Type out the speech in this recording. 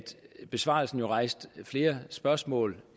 besvarelsen jo rejste flere spørgsmål